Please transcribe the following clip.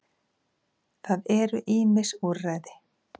Það eru ýmis úrræði.